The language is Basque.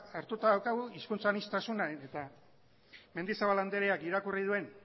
hartuta daukagu hizkuntza aniztasuna eta mendizabal andreak irakurri duen